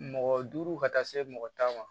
Mɔgɔ duuru ka taa se mɔgɔ tan ma